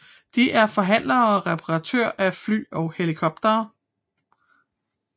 De er forhandlere og reperatør af fly og helikoptere